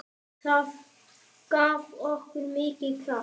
Það gaf okkur mikinn kraft.